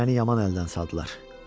Məni yaman əldən saldılar.